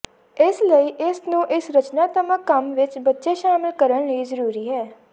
ਇਸ ਲਈ ਇਸ ਨੂੰ ਇਸ ਰਚਨਾਤਮਕ ਕੰਮ ਵਿਚ ਬੱਚੇ ਸ਼ਾਮਲ ਕਰਨ ਲਈ ਜ਼ਰੂਰੀ ਹੈ